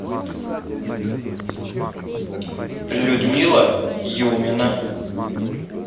людмила юмина